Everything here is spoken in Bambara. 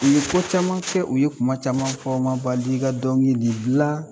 U ye ko caman kɛ, u ye kuma caman fɔ, o ma bali ka dɔnkili gilan